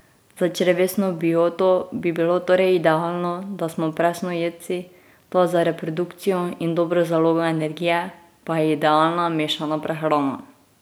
Za črevesno bioto bi bilo torej idealno, da smo presnojedci, toda za reprodukcijo in dobro zalogo energije pa je idealna mešana prehrana.